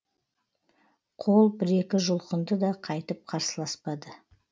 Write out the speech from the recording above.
қол бір екі жұлқынды да қайтып қарсыласпады